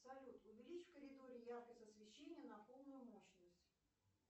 салют увеличь в коридоре яркость освещения на полную мощность